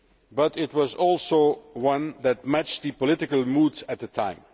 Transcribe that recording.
But it was also one that matched the political moods at the time.